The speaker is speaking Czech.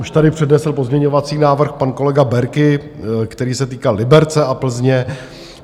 Už tady přednesl pozměňovací návrh pan kolega Berki, který se týkal Liberce a Plzně.